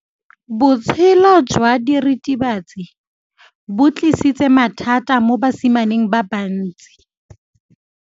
Botshelo jwa diritibatsi ke bo tlisitse mathata mo basimaneng ba bantsi.